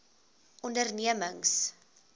ondernemings